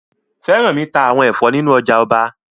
Fẹ́rànmi ta àwọn ẹ̀fọ́ nínu ọjà ọba